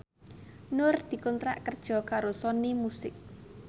Nur dikontrak kerja karo Sony Music